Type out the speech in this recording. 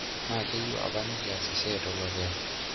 Naa kayieu apa nikias esiai tolokiyo.